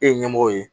E ye ɲɛmɔgɔ ye